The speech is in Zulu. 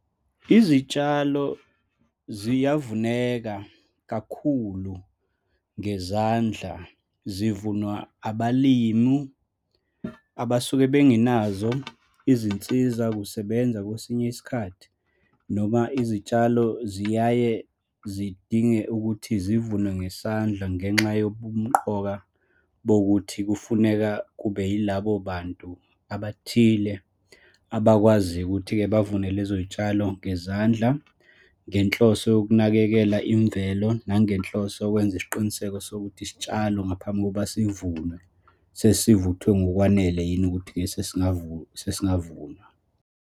Izitshalo ziyavuneka kakhulu ngezandla zivunywa abalimu abasuke bengenazo izinsizakusebenza kwesinye isikhathi, noma izitshalo ziyaye zidinge ukuthi zivunwe ngesandla ngenxa yobumumqoka bokuthi kufuneka kube yilabo bantu abathile abakwazi ukuthi-ke bavune lezo y'tshalo ngezandla, ngenhloso yokunakekela imvelo nangenhloso yokwenza isiqiniseko sokuthi, isitshalo ngaphambi kokuba sivunwe, sesivuthwe ngokwanele yini ukuthi sesingavunwa.